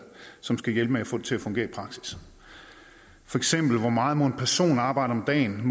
som skal hjælpe med at få det til at fungere i praksis feks hvor meget må en person arbejde om dagen